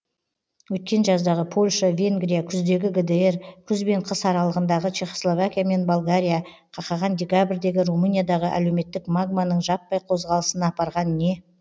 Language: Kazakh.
өткен жаздағы польша венгрия күздегі гдр күз бен қыс аралығындағы чехословакия мен болгария қақаған декабрьдегі румыниядағы әлеуметтік магманың жаппай қозғалысына апарған не